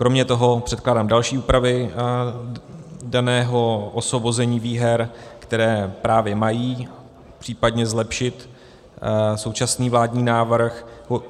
Kromě toho předkládám další úpravy daného osvobození výher, které právě mají případně zlepšit současný vládní návrh.